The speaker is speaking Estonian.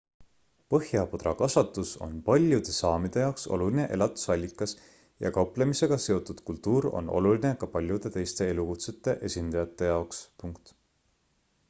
põhjapõdrakasvatus on paljude saamide jaoks oluline elatusallikas ja kauplemisega seotud kultuur on oluline ka paljude teiste elukutsete esindajate jaoks